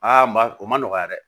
Aa ma o ma nɔgɔya dɛ